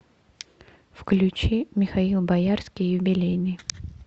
включи михаил боярский юбилейный